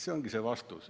See ongi vastus.